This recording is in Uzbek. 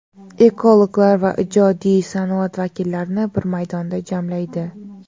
ekologlar va ijodiy sanoat vakillarini bir maydonda jamlaydi.